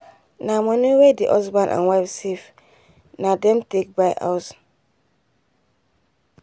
na money wen the husband and wife safe na them take buy house